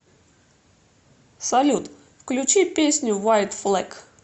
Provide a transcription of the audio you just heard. салют включи песню вайт флэг